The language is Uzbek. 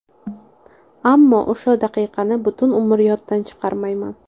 Ammo o‘sha daqiqani butun umr yoddan chiqarmayman.